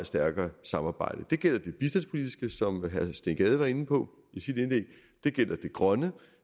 stærkere samarbejde det gælder det bistandspolitiske som herre steen gade var inde på i sit indlæg det gælder det grønne